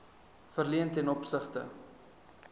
verleen ten opsigte